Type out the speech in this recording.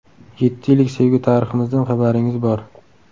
Yetti yillik sevgi tariximizdan xabaringiz bor.